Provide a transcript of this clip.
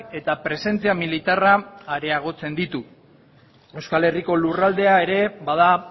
eta presentzia militarra areagotzen ditu euskal herriko lurraldea ere bada